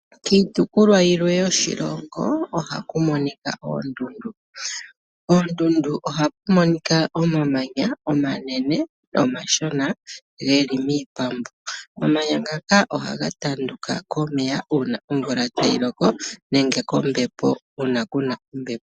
Kiitopolwa yilwe yoshilongo ohaku monika oondundu. Koondundu ohaku monika omamanya omanene nomashona geli miipambu. Omamanya ngaka ohaga pambuka komeya uuna omvula tayi loko nenge kombepo uuna ku na ombepo.